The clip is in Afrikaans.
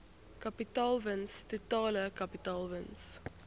kapitaalwins totale kapitaalwins